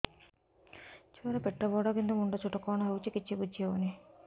ଛୁଆର ପେଟବଡ଼ କିନ୍ତୁ ମୁଣ୍ଡ ଛୋଟ କଣ ହଉଚି କିଛି ଵୁଝିହୋଉନି